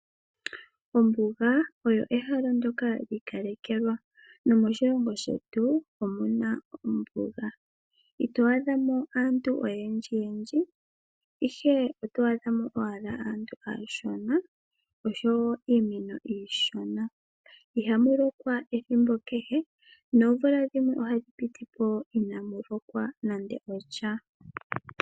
Ombuga oyo ehala ndyoka lyi kalekelwa nomoshilongo shetu omuna ombuga. Ito adhamo aantu oyendji yendji ihe oto adhamo owala aantu aashona osho iimeno iishona ihamu lokwa ethimbo kehe noomvula dhimwe ohadhi pitipo inamu lokwa nande osha.